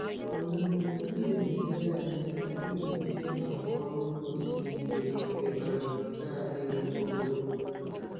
Ọmụmụ ihe na-enyere anyị aka iwulite àgwà ọrụ ugbo siri ike nke um na-adịru ogologo ndụ.